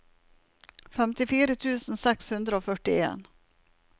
femtifire tusen seks hundre og førtien